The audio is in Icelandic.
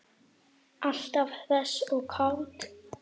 Alltaf hress og kát.